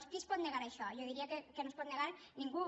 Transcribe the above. qui es pot negar a això jo diria que no s’hi pot negar ningú